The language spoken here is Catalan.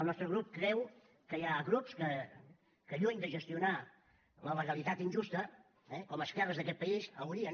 el nostre grup creu que hi ha grups que lluny de gestionar la legalitat injusta eh com esquerres d’aquest país haurien